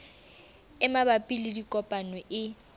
e mabapi le dikopo e